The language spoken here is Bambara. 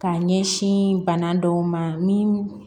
K'a ɲɛsin bana dɔw ma min